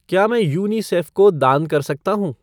क्या मैं यूनिसेफ़ को दान कर सकता हूँ?